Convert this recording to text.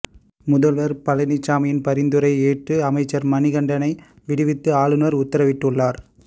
முதல்வர் பழனிசாமியின் பரிந்துரையை ஏற்று அமைச்சர் மணிகண்டனை விடுவித்து ஆளுநர் உத்தரவிட்டுள்ளார்